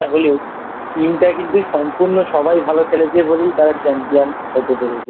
হলেও Team টা কিন্তু সম্পূর্ণ সবাই ভালো খেলেছে বলেই তারা Champion হতে পেরেছে I